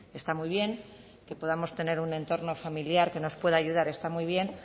está muy bien que podamos tener un entorno familiar que nos pueda ayudar está muy bien